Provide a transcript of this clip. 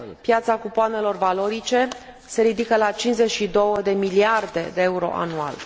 Piața cupoanelor valorice se ridică la 52 de miliarde de euro anual.